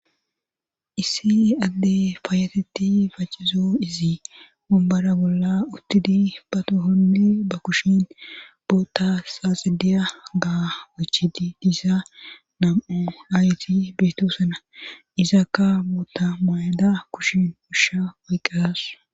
Issi adde faayatetti facizo izi mombara bolla uttidi batohonne ba kushin boota saaxidiya ga wechidi diisa nam7o ayti beetoosena izakka mota mayada kushin ushsha oyqqas.